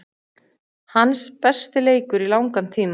Hans besti leikur í langan tíma.